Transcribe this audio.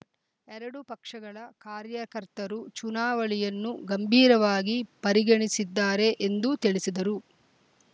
ಎರಡೂ ಪಕ್ಷಗಳ ಕಾರ್ಯಕರ್ತರು ಚುನಾವಳಿಯನ್ನು ಗಂಭೀರವಾಗಿ ಪರಿಗೆಣಿಸಿದ್ದಾರೆ ಎಂದು ತಿಳಿಸಿದರು